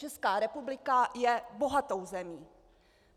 Česká republika je bohatou zemí.